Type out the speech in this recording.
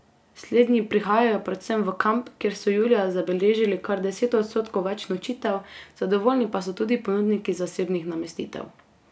Slednji prihajajo predvsem v kamp, kjer so julija zabeležili kar deset odstotkov več nočitev, zadovoljni pa so tudi ponudniki zasebnih namestitev.